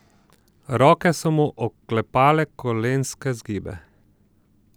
Roke so mu oklepale kolenske zgibe.